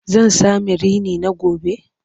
Zan sami rini na gobe?